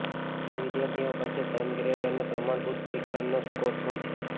જે વિદ્યાર્થીઓ પાસે ઘન ગ્રેડ અને પ્રમાણભૂત પરીક્ષણના સ્કોર્સ હોય છે